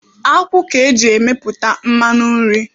Akwụ ka eji emepụta mmanụ nri.